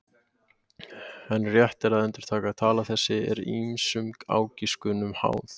En rétt er að endurtaka: tala þessi er ýmsum ágiskunum háð.